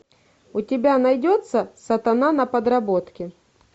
у тебя найдется сатана на подработке